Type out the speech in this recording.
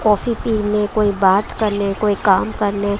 coffee पीले कोई बात करले कोई काम करले--